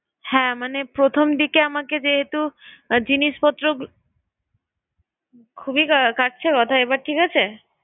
হ্যাঁ মানে প্রথম দিকে আমাকে যেহেতু জিনিসপত্র, খুবই কাটছে কথা এবার ঠিক আছে?